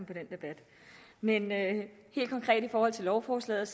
debat men helt konkret i forhold til lovforslaget